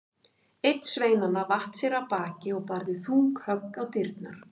Einn sveinanna vatt sér af baki og barði þung högg á dyrnar.